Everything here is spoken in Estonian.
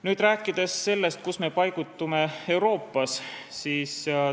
Nüüd räägime sellest, kuhu me Euroopas paigutume.